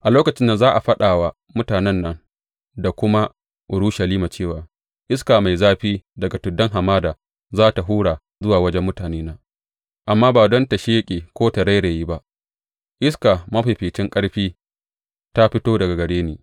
A lokacin za a faɗa wa mutanen nan da kuma Urushalima cewa, Iska mai zafi daga tuddan hamada za tă hura zuwa wajen mutanena, amma ba don ta sheƙe ko ta rairaye; ba; iska mafificin ƙarfi da ta fito daga gare ni.